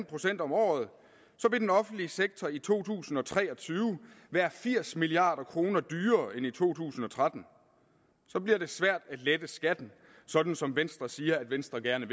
procent om året vil den offentlige sektor i to tusind og tre og tyve være firs milliard kroner dyrere end i to tusind og tretten så bliver det svært at lette skatten sådan som venstre siger at venstre gerne